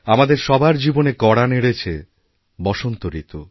আমাদের সবার জীবনে কড়া নেড়েছে বসন্ত ঋতু